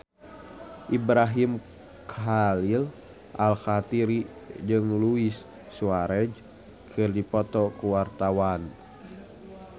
Ibrahim Khalil Alkatiri jeung Luis Suarez keur dipoto ku wartawan